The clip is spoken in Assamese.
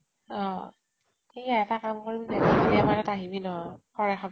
অহ সেয়া এটা কাম কৰিম দে আমাৰ ইয়াত আহিবি নহয়